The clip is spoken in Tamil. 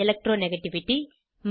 எலக்ட்ரானிகேட்டிவிட்டி 2